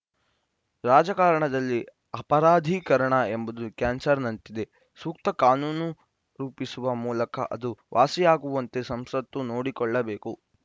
ರಾಜಕಾರಣದಲ್ಲಿ ಅಪರಾಧೀಕರಣ ಎಂಬುದು ಕ್ಯಾನ್ಸರ್‌ನಂತಿದೆ ಸೂಕ್ತ ಕಾನೂನು ರೂಪಿಸುವ ಮೂಲಕ ಅದು ವಾಸಿಯಾಗುವಂತೆ ಸಂಸತ್ತು ನೋಡಿಕೊಳ್ಳಬೇಕು